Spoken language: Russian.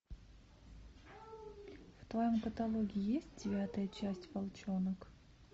в твоем каталоге есть девятая часть волчонок